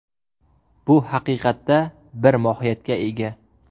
Bu haqiqatda bir mohiyatga ega.